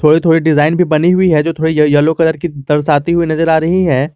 थोड़ी थोड़ी डिजाइन भी बनी हुई है जो थोड़ी येल्लो कलर की दर्शाती हुई नजर आ रही है।